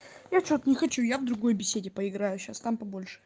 я что-то не хочу я в другой беседе поиграю сейчас там побольше